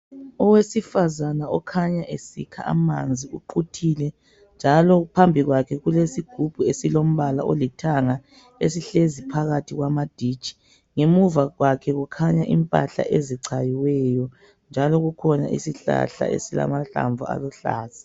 Owesifazana okhanya esikha amanzi uquthile. Njalo phambikwakhe kulesigubhu esilombala olithanga esihlezi phakathi kwamaditshi. Ngemuva kwakhe kukhanya impahla ezichayiweyo, njalo kukhona isihlahla esilamahlamvu aluhlaza.